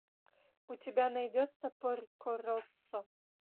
у тебя найдется порко россо